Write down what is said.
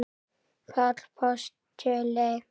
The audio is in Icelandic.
Páll postuli?